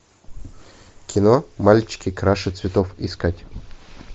кино мальчики краше цветов искать